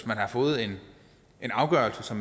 man har fået en afgørelse